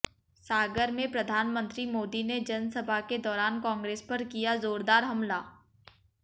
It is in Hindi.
सागर में प्रधानमंत्री मोदी ने जनसभा के दौरान कांग्रेस पर किया जोरदार हमला